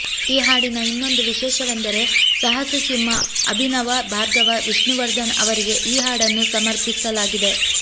ಈ ಹಾಡಿನ ಇನ್ನೊಂದು ವಿಶೇಷವೆಂದರೆ ಸಾಹಸಸಿಂಹ ಅಭಿನವ ಭಾರ್ಗವ ವಿಷ್ಣುವರ್ಧನ್ ಅವರಿಗೆ ಈ ಹಾಡನ್ನು ಸಮರ್ಪಿಸಲಾಗಿದೆ